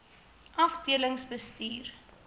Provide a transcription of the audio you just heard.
afdelingsbestuur